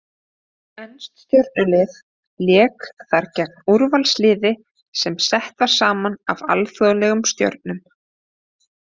Enskt stjörnulið lék þar gegn úrvalsliði sem sett var saman af alþjóðlegum stjörnum.